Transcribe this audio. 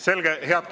Selge.